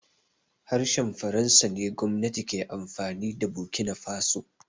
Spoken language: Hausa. Harshen faransa ne gwamnati ke amfani da bokinafaso